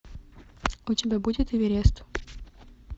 у тебя будет эверест